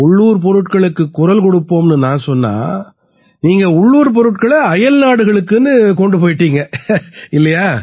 உள்ளூர் பொருட்களுக்குக் குரல் கொடுப்போம்னு நான் சொன்னா நீங்க உள்ளூர் பொருட்கள அயல்நாடுகளுக்குன்னு கொண்டு போயிட்டீங்க இல்லையா